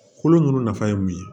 Kolo ninnu nafa ye mun ye